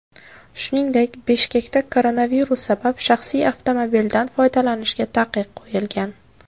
Shuningdek, Bishkekda koronavirus sabab shaxsiy avtomobildan foydalanishga taqiq qo‘yilgan .